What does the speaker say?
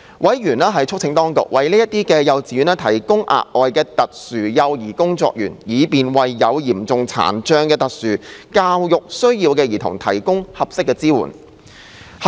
委員促請當局為這些幼稚園提供額外特殊幼兒工作員，以便為有嚴重殘障的特殊教育需要兒童提供合適支援。